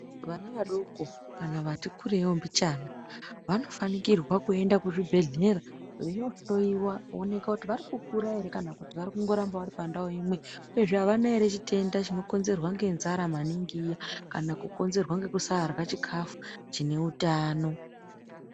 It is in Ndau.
Vana vadoko kana vati kureiwo mbichana vanofanikirwa kuende kuzvibhehlera veiohlowiwa kuoneka kuti vari kukura ere kana kuti varikungoramba vari pandau imwe uyezve avana ere chitenda chinokonzerwa ngenzara maningi iya kana kukonzerwa ngekusarya chikafu chine utano.